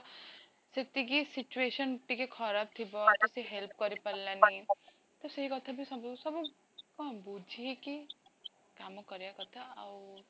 ସେତିକି situation ଟିକେ ଖରାପଥିବ ସେଥି ପାଇଁ ସେ help କରି ପାରିଲାନି, ତ ସେଇ କଥାବି ସବୁ ସବୁ କଣ ବୁଝି କି କାମ କରିବା କଥା ଆଉ